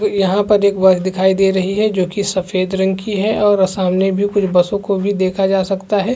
यहाँ पर एक बस दिखाई दे रहीं है जो की सफेद रंग की है और सामने भी कुछ को भी देखा देखा जा सकता है।